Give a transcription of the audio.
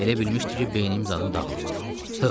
Elə bilmişdi ki, beynim zadım dağılıb.